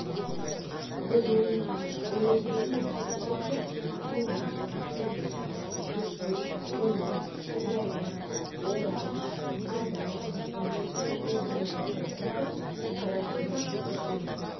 губерниялар уездер мен округтер ақмола ақтөбе жетісу семей сырдария орал адай уезі қостанай округы қарақалпақ бүкіл